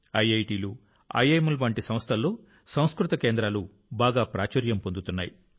ఐఐటీలు ఐఐఎంల వంటి సంస్థల్లో సంస్కృత కేంద్రాలు బాగా ప్రాచుర్యం పొందుతున్నాయి